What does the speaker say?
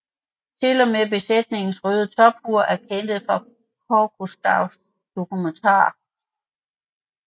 Til og med besætningens røde tophuer er hentet fra Cousteaus dokumentar